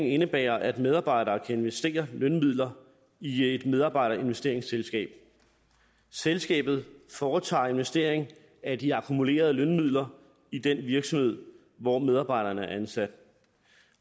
indebærer at medarbejdere kan investere lønmidler i et medarbejderinvesteringsselskab selskabet foretager investering af de akkumulerede lønmidler i den virksomhed hvor medarbejderne er ansat